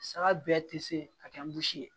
Saga bɛɛ tɛ se ka kɛ ye